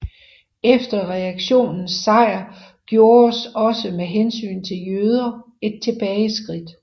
Efter reaktionens sejr gjordes også med hensyn til jøder et tilbageskridt